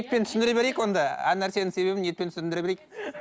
түсіндіре берейік онда әр нәрсенің себебін етпен түсіндіре берейік